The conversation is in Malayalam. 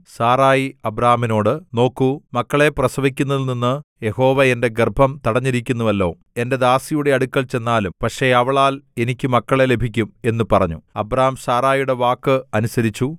സാറായി അബ്രാമിനോട് നോക്കൂ മക്കളെ പ്രസവിക്കുന്നതിൽനിന്ന് യഹോവ എന്റെ ഗർഭം തടഞ്ഞിരിക്കുന്നുവല്ലോ എന്റെ ദാസിയുടെ അടുക്കൽ ചെന്നാലും പക്ഷേ അവളാൽ എനിക്ക് മക്കളെ ലഭിക്കും എന്നു പറഞ്ഞു അബ്രാം സാറായിയുടെ വാക്ക് അനുസരിച്ചു